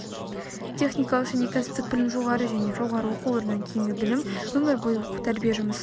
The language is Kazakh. техникалық және кәсіптік білім жоғары және жоғары оқу орнынан кейінгі білім өмір бойы оқу тәрбие жұмысы